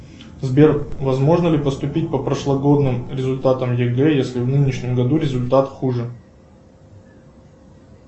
сбер возможно ли поступить по прошлогодним результатам егэ если в нынешнем году результат хуже